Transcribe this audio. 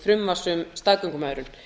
frumvarps um staðgöngumæðrun